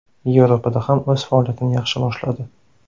Yevropada ham o‘z faoliyatini yaxshi boshladi.